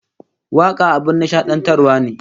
Waka abin nishadantarwa ne